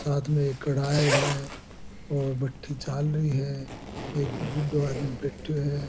साथ मे एक कढ़ायो है और भट्टी चालरी है एक बूढ़ो आदमी बैठो है।